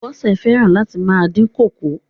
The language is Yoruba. Bọ́sẹ̀ fẹ́ràn láti máa dín kókò.